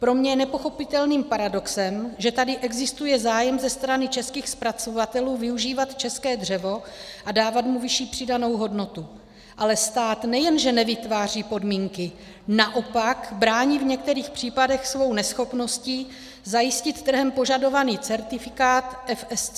Pro mě je nepochopitelným paradoxem, že tady existuje zájem ze strany českých zpracovatelů využívat české dřevo a dávat mu vyšší přidanou hodnotu, ale stát nejenže nevytváří podmínky, naopak brání v některých případech svou neschopností zajistit trhem požadovaný certifikát FSC.